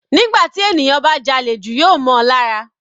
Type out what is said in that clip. Nígbà tí ènìyàn bá jalè jù yóò mọ́ on lára.